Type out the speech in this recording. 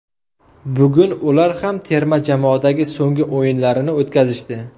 Bugun ular ham terma jamoadagi so‘nggi o‘yinlarini o‘tkazishdi.